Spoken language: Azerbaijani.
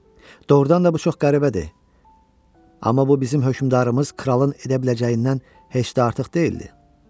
Doğrudan da bu çox qəribədir, amma bu bizim hökmdarımız kralın edə biləcəyindən heç də artıq deyildi.